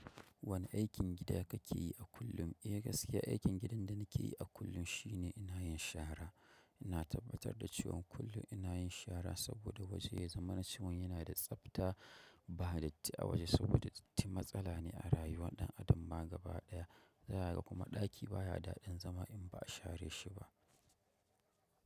Wane aikin gida kake yi a kullum? Eh gaskiya aikin gidan da nake yi a kullum shine ina yin shara. Ina tabbatar da cewan kullum ina yin shara saboda waje ya zama na cewan yana da tsabta ba da datti a waje saboda datti matsala ne a rayuwa ɗan adam ba ga baya ɗaya. Zaka ga kuma ɗaki baya daɗin zama in ba a share shi ba.